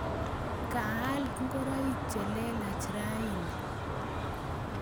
Kaal ngoroik che lelach raini